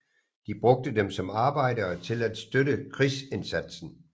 De brugte dem som arbejdere til at støtte krigsindsatsen